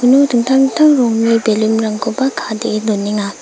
uno dingtang dingtang rongni balloon-rangkoba ka·dee donenga.